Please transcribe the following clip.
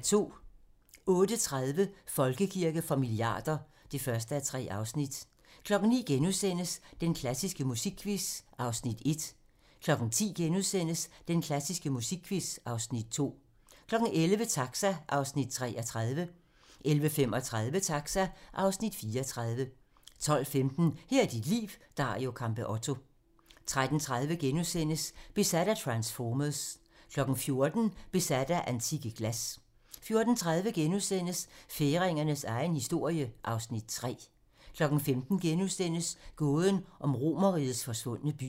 08:30: Folkekirke for milliarder (1:3) 09:00: Den klassiske musikquiz (1:8)* 10:00: Den klassiske musikquiz (2:8)* 11:00: Taxa (Afs. 33) 11:35: Taxa (Afs. 34) 12:15: Her er dit liv - Dario Campeotto 13:30: Besat af transformers * 14:00: Besat af antikke glas 14:30: Færingernes egen historie (Afs. 3)* 15:00: Gåden om Romerrigets forsvundne by *